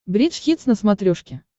бридж хитс на смотрешке